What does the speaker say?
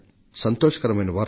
సంతోషకరమైన వార్త